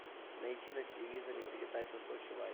найти на телевизоре передачу сочи лайф